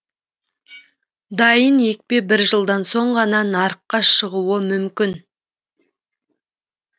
дайын екпе бір жылдан соң ғана нарыққа шығуы мүмкін